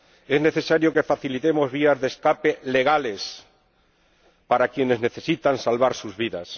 Es necesario que facilitemos vías de escape legales para quienes necesitan salvar sus vidas.